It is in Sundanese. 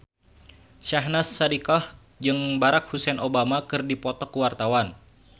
Syahnaz Sadiqah jeung Barack Hussein Obama keur dipoto ku wartawan